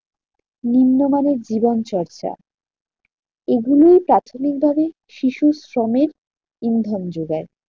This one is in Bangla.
নিম্নমানের জীবন চর্চা এগুলোই প্রাথমিক ভাবে শিশু শ্রমের ইন্ধন যোগায়।